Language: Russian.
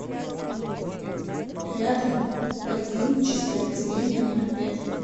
рядом поликлиническое отделение номер пять